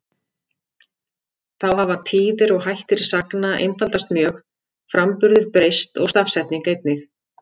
Þá hafa tíðir og hættir sagna einfaldast mjög, framburður breyst og stafsetning einnig.